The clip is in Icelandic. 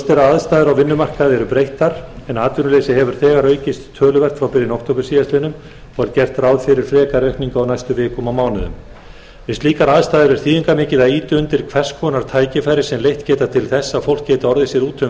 aðstæður á vinnumarkaði eru breyttar en atvinnuleysi hefur þegar aukist töluvert frá byrjun október síðastliðinn og er gert ráð fyrir frekari aukningu á næstu vikum og mánuðum við slíkar aðstæður er þýðingarmikið að ýta undir hvers konar tækifæri sem leitt geta til þess að fólk geti orðið sér úti um